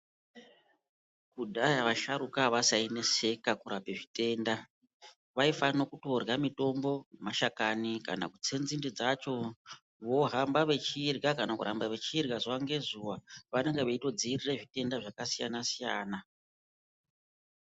Kudhaya vasharukwa avasaineseka kurape zvitenda. Vaifanokutorya mitombo, mashakani kana kutse nzinde dzacho vohamba vechirya kana kuramba vechirya zuwa ngezuwa. Vanenge veitodzirira zvitenda zvakasiyana siyana.